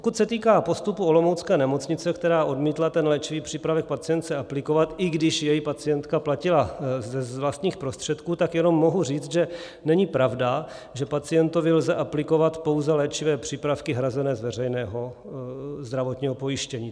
Pokud se týká postupu olomoucké nemocnice, která odmítla ten léčivý přípravek pacientce aplikovat, i když jej pacientka platila z vlastních prostředků, tak jenom mohu říct, že není pravda, že pacientovi lze aplikovat pouze léčivé přípravky hrazené z veřejného zdravotního pojištění.